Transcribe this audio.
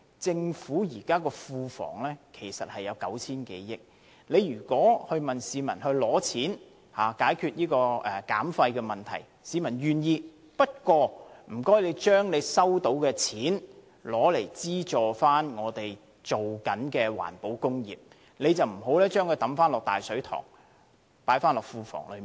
政府庫房現時有 9,000 多億元盈餘，如果向市民徵費以解決減廢問題，市民願意付款，不過請政府將收到的錢用作資助正在推行的環保工業，而不要把這些錢放回"大水塘"，即庫房內。